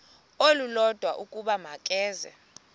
olulodwa ukuba makeze